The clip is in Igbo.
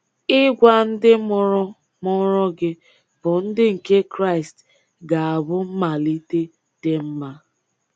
Ịgwa ndị mụrụ mụrụ gị bụ́ ndị nke Kraịst ga-abụ mmalịte dị mma.